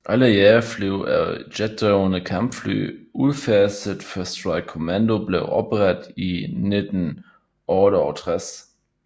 Alle jagerfly er jetdrevne Kampfly udfaset før Strike command blev oprettet i 1968